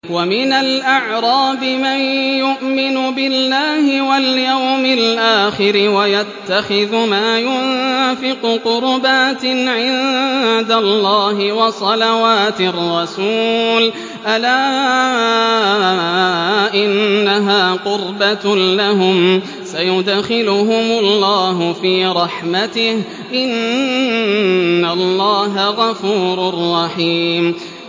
وَمِنَ الْأَعْرَابِ مَن يُؤْمِنُ بِاللَّهِ وَالْيَوْمِ الْآخِرِ وَيَتَّخِذُ مَا يُنفِقُ قُرُبَاتٍ عِندَ اللَّهِ وَصَلَوَاتِ الرَّسُولِ ۚ أَلَا إِنَّهَا قُرْبَةٌ لَّهُمْ ۚ سَيُدْخِلُهُمُ اللَّهُ فِي رَحْمَتِهِ ۗ إِنَّ اللَّهَ غَفُورٌ رَّحِيمٌ